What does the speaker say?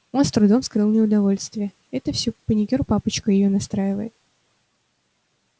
он с трудом скрыл неудовольствие это все паникёр папочка её настраивает